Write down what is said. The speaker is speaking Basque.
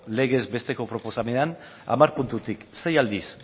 legez besteko proposamenean hamar puntutik sei aldiz